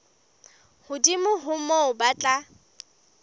hodimo ho moo ba tla